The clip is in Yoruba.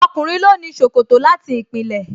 Ọkùnrin ló ní ṣòkòtò láti ìpìlẹ̀